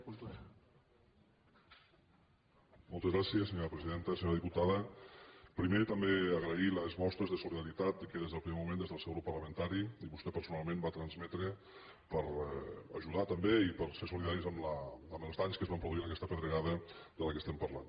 senyora diputada primer també agrair les mostres de solidaritat que des del primer moment des del seu grup parlamentari i vostè personalment va transmetre per ajudar també i per a ser solidaris amb els danys que es van produir amb aquesta pedregada de què estem parlant